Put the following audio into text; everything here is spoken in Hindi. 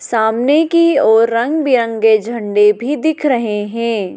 सामने की ओर रंग बिरंगे झंडे भी दिख रहे हैं।